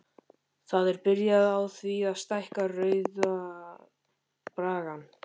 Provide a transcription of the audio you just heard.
Það er byrjað á því að stækka Rauða braggann.